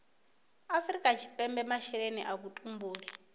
afrika tshipembe masheleni a vhutumbuli